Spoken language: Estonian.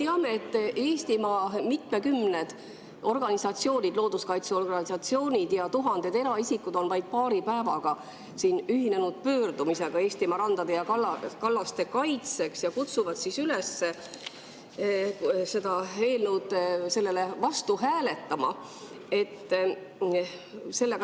Me teame, et Eestimaa mitmekümned organisatsioonid, looduskaitseorganisatsioonid, ja tuhanded eraisikud on vaid paari päevaga ühinenud pöördumisega Eestimaa randade ja kallaste kaitseks ja kutsuvad üles selle eelnõu vastu hääletama.